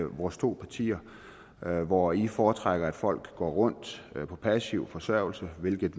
vores to partier hvor i foretrækker at folk går rundt på passiv forsørgelse hvilket